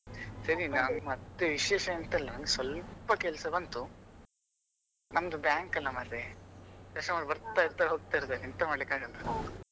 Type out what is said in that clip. ಸರಿ ನಾನ್ ಮತ್ತೆ ವಿಶೇಷ ಎಂತ ಇಲ್ಲ ನನಗೆ ಸ್ವಲ್ಪ ಕೆಲಸ ಬಂತು ನಮ್ದು bank ಅಲ್ಲ ಮಾರೆ customer ಬರ್ತಾ ಇರ್ತಾರೆ ಹೋಗ್ತಾ ಇರ್ತಾರೆ ಎಂತ ಮಾಡ್ಲಿಕ್ಕಾಗಲ್ಲ.